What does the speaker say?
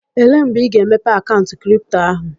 Elee mgbe ị ga-emepe akaụntụ kripto ahụ?